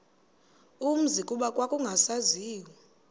umzi kuba kwakungasaziwa